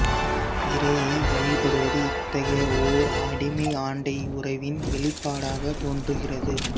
இறையை வழிபடுவது இத்தகைய ஓர் அடிமை ஆண்டை உறவின் வெளிப்பாடக தோன்றுகிறது